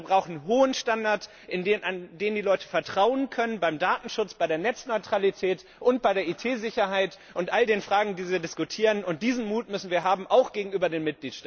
Wir brauchen vielmehr einen hohen Standard, in den die Leute vertrauen können, beim Datenschutz, bei der Netzneutralität und bei der IT Sicherheit und all den Fragen, die wir diskutieren. Diesen Mut müssen wir haben, auch gegenüber den